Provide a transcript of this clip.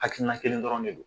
Hakilina kelen dɔrɔn de don